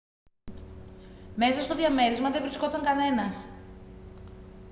μέσα στο διαμέρισμα δεν βρισκόταν κανένας